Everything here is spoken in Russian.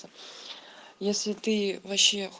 если ты вообще